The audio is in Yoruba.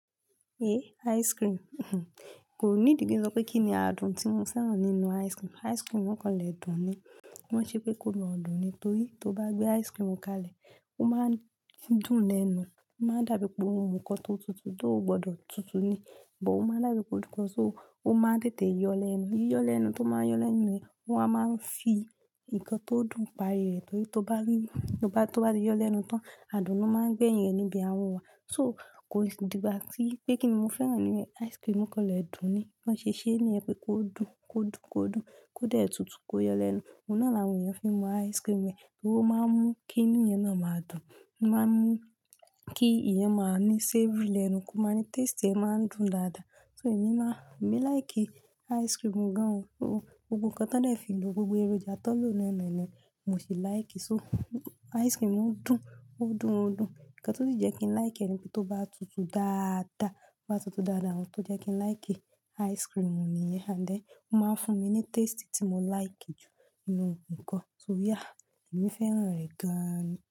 Eh, ice cream. Kò need ki n sọ pé kí ni àádùn tí mo fẹ́ràn nínú ice cream. Ice cream kan lẹ̀ dùn ni. Wọ́n ṣe pé kó mọ̀ dùn ní torí tó bá gbé ice cream kalẹ̀, ó máa ń dùn lẹ́nu. Ó máa dàbíi pé ò mun nkan tó tutù, tó gbọdọ̀ tutù ni, but ó máa dàbíi kún ikọ́ sóo, ó máa ń tètè yọ lẹ́nu. Yíyọ lẹ́nu tó máa ń yọ lẹ́nu yẹ́ o wa máa ń fi nǹkan tó dùn parí rẹ̀ torí tó bá rí, tó bá ti yọ lẹ́nu tán, àdùn lo máa gbẹ́yẹn níbi a ahon wà. So kò sì dìgbà tí pé kín ni mo fẹ́ràn nínú ẹ̀, ice cream kan lẹ̀ dùn ni. Bọ́n ṣe ṣé níyẹn pé kó dùn, kó dùn, kó dùn, kó dẹ̀ tutù, kó yọ lẹ́nu. Òun náà làwọn èèyàn fi mú ice cream ẹ̀ torí ó máa mú kí inú èèyàn náà máa dùn. Ó máa ń mú kí èèyàn máa ní savory lẹ́nu, kó máa ní taste ẹ máa ń dùn dáadáa. So èmi má, èmi like ice cream gan-an o. Gbogbo ohun kan tán dẹ́ẹ̀ fi lo gbogbo èròjà tọ́n lóò náà ni mo sì like. So ice cream dùn, ó dùn, ó dùn. Ǹkan tó sì jẹ́ kí n like rẹ̀ ni pé tó bá tutù dáadáa, tó bá tutù dáadáa, ohun tó jẹ́ kí n like ice cream níyẹn. And then ó máa ń fún mi ní taste tí mo like jù nínú ohun kan. So yeah, èmi fẹ́ràn rẹ̀ gan-an ni.